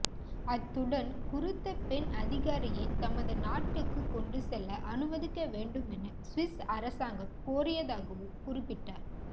அத்துடன் குறித்த பெண்அதிகாரியை தமது நாட்டுக்கு கொண்டுசெல்ல அனுமதிக்கவேண்டுமென சுவிஸ் அரசாங்கம் கோரியதாகவும் குறிப்பிட்டார்